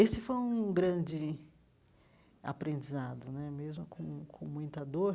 Esse foi um grande aprendizado né, mesmo com com muita dor.